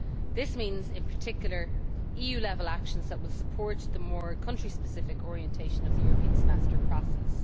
This means, in particular, EU level actions that will support the more country specific orientation of the European Semester process.